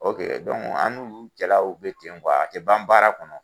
an'u olu cɛlaw bɛ ten kuwa, a tɛ ban baara kɔnɔ!